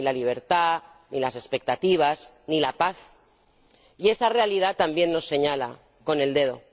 Ni la libertad, ni las expectativas, ni la paz. Y esa realidad también nos señala con el dedo.